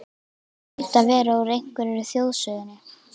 Hlaut að vera úr einhverri þjóðsögunni.